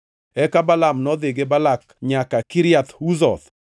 Eka Balaam nodhi gi Balak nyaka Kiriath Huzoth.